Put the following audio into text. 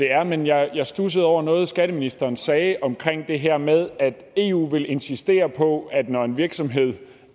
er men jeg studsede over noget skatteministeren sagde om det her med at eu vil insistere på at når en virksomhed